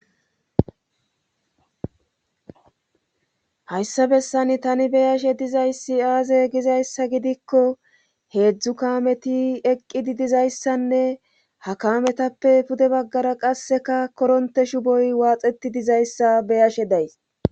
hayssa bessan tani beyashe dizayssi aaze gizayssa gidikko heedzdzu kameti eqqidi dizayssanne ha kametappe pude baggara qasseka koronte shuboy waaxeti dizayssa beyashe days